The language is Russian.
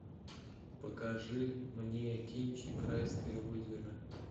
покажи мне кинчик райское озеро